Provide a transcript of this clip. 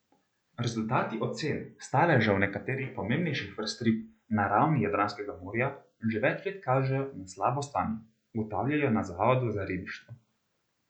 Rezultati ocen staležev nekaterih pomembnejših vrst rib na ravni Jadranskega morja že več let kažejo na slabo stanje, ugotavljajo na zavodu za ribištvo.